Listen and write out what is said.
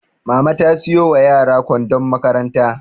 Mama ta siyo wa yara kwandon makaranta